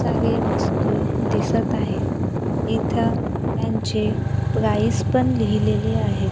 सारे वस्तू दिसत आहेत इथं त्यांचे प्राईस पण लिहिलेले आहेत.